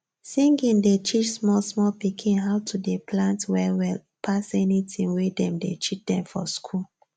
singing dey teach small small pikin how to dey plant well well pass any tin wey dem dey teach dem for school